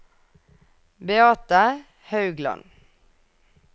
Beate Haugland